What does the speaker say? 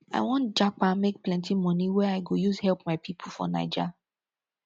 i wan japa make plenty money wey i go use help my pipo for naija